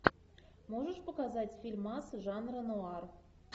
можешь показать фильмас жанра нуар